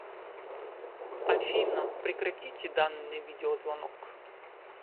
афина прекратите данный видеозвонок